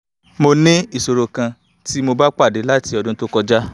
mo ní ìṣòro kan tí mo ti ba pade láti ọdún to kọjá